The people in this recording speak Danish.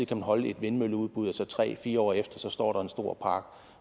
afholde et vindmølleudbud og så tre fire år efter står der en stor